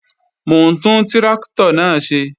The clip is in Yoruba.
Mò ń tún tráktọ̀ náà ṣe